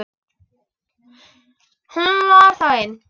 Hún var þá ein!